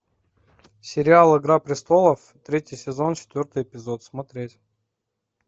сериал игра престолов третий сезон четвертый эпизод смотреть